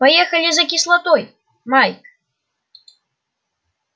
поехали за кислотой майк